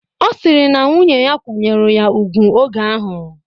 Ọ sịrị na nwunnye ya kwanyeru ya ugwu oge ahụ